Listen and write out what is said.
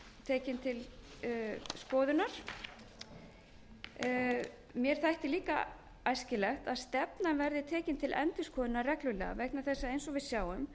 tekin til skoðunar mér þætti líka æskilegt að stefnan verði tekin til endurskoðunar reglulega vegna þess að eins og við sjáum